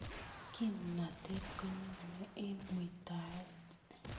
Kimnatet konyoni eng muitaet